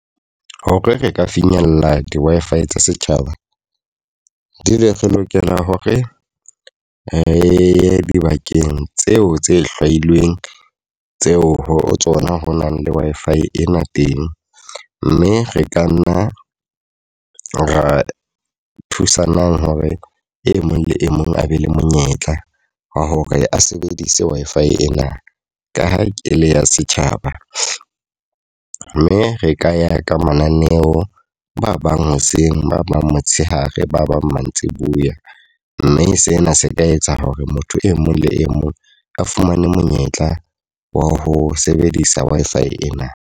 Hore re ka finyella di-Wi-Fi tsa setjhaba. Di le re lokela hore re ye dibakeng tseo tse hlwailweng tseo ho tsona ho na le Wi-Fi ena teng. Mme re ka nna ra thusanang hore e mong le e mong a be le monyetla wa hore a sebedise Wi-Fi ena, ka ha e le ya setjhaba. Mme re ka ya ka mananeo, ba bang hoseng, ba bang motshehare, ba bang mantsibuya. Mme sena se ka etsa hore motho e mong le e mong a fumane monyetla wa ho sebedisa Wi-Fi ena.